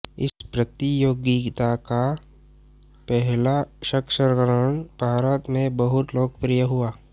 इस प्रतियोगिता का पहला संस्करण भारत में बहुत लोकप्रिय हुआ